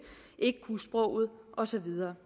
ikke kunne sproget og så videre